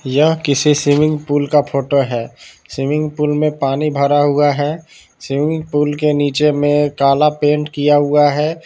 यह किसी swimming pool का फोटो है स्विमिंग पूल में पानी भरा हुआ है स्विमिंग पूल के नीचे में काला पेंट किया हुआ है।